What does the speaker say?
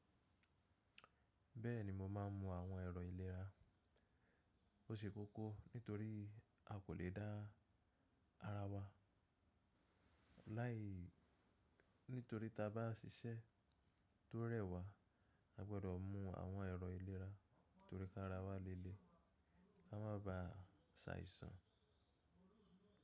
Bẹ́ẹ̀ni mo máa ń mú àwọn ẹ̀rọ ìlera. O ṣe kókó nítorí a kò le dá ara wa. Ní torí tí a bá ṣiṣẹ́ tó rẹ́wà a gbọdọ̀ mú àwọn ẹ̀rọ ìlera torí ká ara wa léle ka má bà ṣàìsàn.